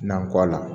Nan kɔ la